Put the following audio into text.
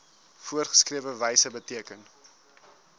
voorgeskrewe wyse beteken